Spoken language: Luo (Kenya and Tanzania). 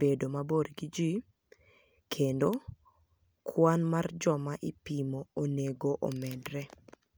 bedo mabor gi ji, kenido kwani mar joma ipimo oni ego omedre.